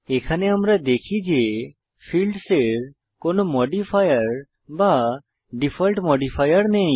এখানে আমরা দেখি যে ফীল্ডসের কোনো মডিফায়ার বা ডিফল্ট মডিফায়ার নেই